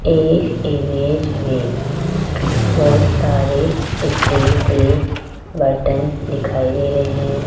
इस इमेज में बहुत सारे स्टील के बर्तन दिखाई दे रहे हैं।